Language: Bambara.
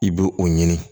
I b'o o ɲini